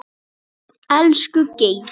Elsku Geiri.